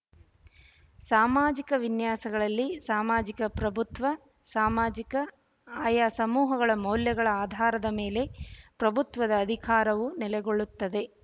ಸಾಮಾಜಿಕ ವಿನ್ಯಾಸಗಳಲ್ಲಿ ಸಾಮಾಜಿಕ ಪ್ರಭುತ್ವ ಸಾಮಾಜಿಕ ಆಯಾ ಸಮೂಹಗಳ ಮೌಲ್ಯಗಳ ಆಧಾರದ ಮೇಲೆ ಪ್ರಭುತ್ವದ ಅಧಿಕಾರವು ನೆಲೆಗೊಳ್ಳುತ್ತದೆ